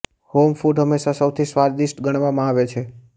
home food હંમેશા સૌથી સ્વાદિષ્ટ ગણવામાં આવે છે